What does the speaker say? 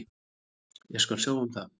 Ég skal sjá um það.